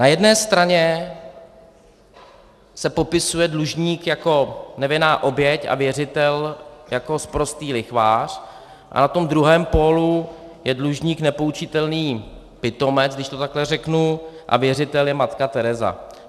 Na jedné straně se popisuje dlužník jako nevinná oběť a věřitel jako sprostý lichvář a na tom druhém pólu je dlužník nepoučitelný pitomec, když to takhle řeknu, a věřitel je matka Tereza.